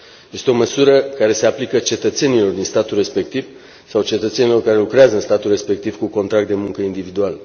Este o măsură care se aplică cetățenilor din statul respectiv sau cetățenilor care lucrează în statul respectiv cu contrat de muncă individual.